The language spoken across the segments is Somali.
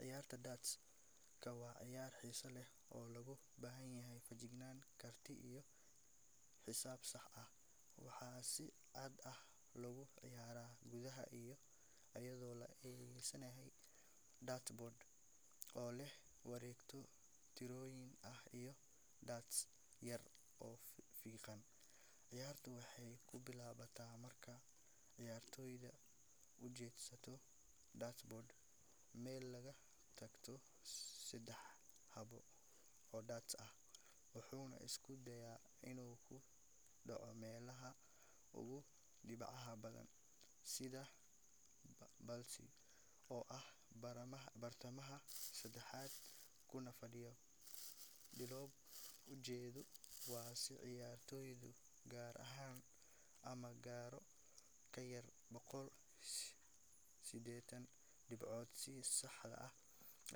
Ciyaarta darts-ka waa ciyaar xiiso leh oo u baahan feejignaan, karti iyo xisaab sax ah. Waxaa si caadi ah loogu ciyaaraa gudaha, iyadoo la adeegsanayo dartboard oo leh wareegyo tirooyin ah iyo darts yar oo fiiqan. Ciyaartu waxay ku bilaabataa marka ciyaartoygu u jeedsado dartboard meel laga toogto saddex xabo oo darts ah, wuxuuna isku dayaa inuu ku dhaco meelaha ugu dhibcaha badan sida bullseye, oo ah bartamaha saxanka kuna fadhiya konton dhibcood. Ujeedadu waa in ciyaartoygu gaaro ama gaaro ka yar boqol sideetan dhibcood si sax ah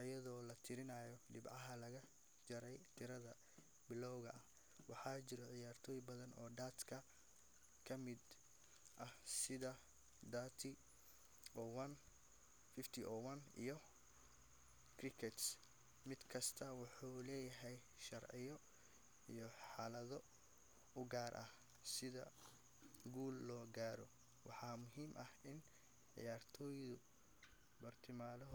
iyadoo la tirinayo dhibcaha laga jarayo tiradaas bilowga ah. Waxaa jira ciyaaro badan oo darts-ka ka mid ah sida 301, 501, iyo cricket, mid kastaana wuxuu leeyahay sharciyo iyo xeelado u gaar ah. Si guul loo gaaro, waxaa muhiim ah in ciyaartoygu.